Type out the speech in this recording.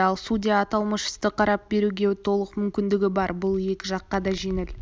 төленеді ал судья аталмыш істі қарап беруге толық мүмкіндігі бар бұл екі жаққа да жеңіл